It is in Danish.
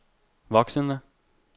voksende